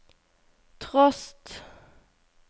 trost